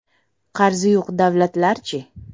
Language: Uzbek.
Qarzi yo‘q davlatlarchi?